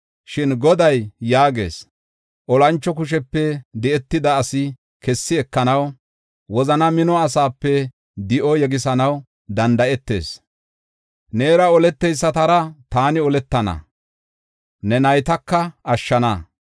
Shin Goday yaagees: Olancho kushepe di7etida asi kessi ekanaw, wozana mino asape di7o yegisanaw danda7etees. Neera oleteysatara taani oletana; ne naytaka ashshana.